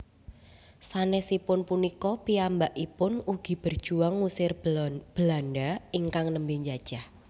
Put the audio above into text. Sanesipun punika piyambakipun ugi berjuang ngusir Belanda ingkang nembe jajah